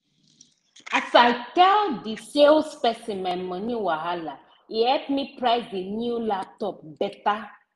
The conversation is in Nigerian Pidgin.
as i tell the salesperson my moni wahala e help me price the new laptop better